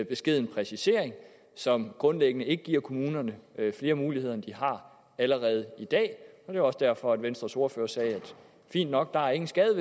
beskeden præcisering som grundlæggende ikke giver kommunerne flere muligheder end de allerede har i dag det var også derfor venstres ordfører sagde fint nok der er ingen skade